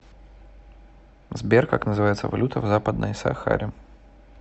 сбер как называется валюта в западной сахаре